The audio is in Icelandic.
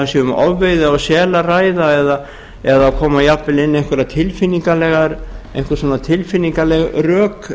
um ofveiði á sel að ræða eða það koma jafnvel inn einhver tilfinningaleg rök